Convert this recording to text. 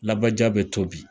Labaja be tobi